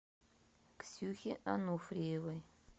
ксюхе ануфриевой